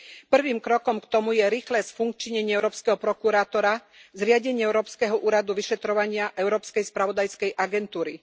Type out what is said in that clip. Prvým krokom k tomu je rýchle sfunkčnenie európskeho prokurátora, zriadenie európskeho úradu vyšetrovania Európskej spravodajskej agentúry.